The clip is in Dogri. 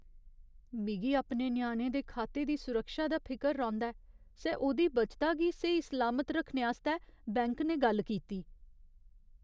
मिगी अपने ञ्याणे दे खाते दी सुरक्षा दा फिकर रौंह्दा ऐ सै ओह्दी बचता गी स्हेई सलामत रक्खने आस्तै बैंक ने गल्ल कीती।